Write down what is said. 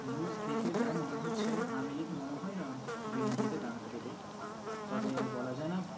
news দেখে যা মনে হচ্ছে আমেলি মনে হয়না BNP কে দাঁড়াতে দেবে। তবে বলা যায় না